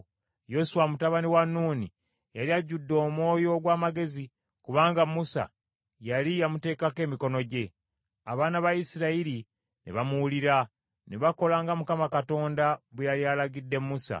Yoswa, mutabani wa Nuuni, yali ajjudde omwoyo ogw’amagezi, kubanga Musa yali yamuteekako emikono gye. Abaana ba Isirayiri ne bamuwulira, ne bakola nga Mukama Katonda bwe yali alagidde Musa.